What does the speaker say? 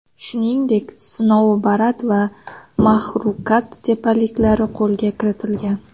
Shuningdek, Snoubarat va Maxrukat tepaliklari qo‘lga kiritilgan.